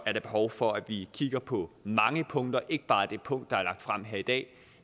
er der behov for at vi kigger på mange punkter ikke bare det punkt der er lagt frem her i dag